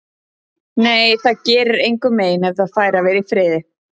Nei, það gerir engum mein ef það fær að vera í friði.